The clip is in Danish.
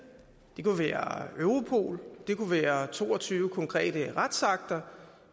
det kunne være europol det kunne være to og tyve konkrete retsakter